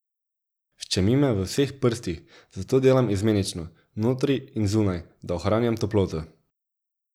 Ščemi me v vseh prstih, zato delam izmenično, notri in zunaj, da ohranjam toploto.